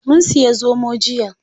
Mun siya zomo jiya.